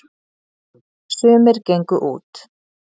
sumir gengu út